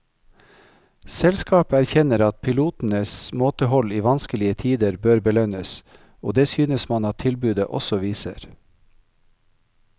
Selskapet erkjenner at pilotenes måtehold i vanskelige tider bør belønnes, og det synes man at tilbudet også viser.